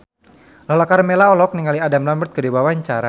Lala Karmela olohok ningali Adam Lambert keur diwawancara